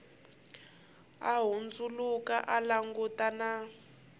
a hundzuluka a langutana na